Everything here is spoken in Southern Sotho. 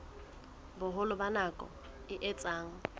boholo ba nako e etsang